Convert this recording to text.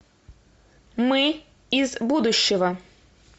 мы из будущего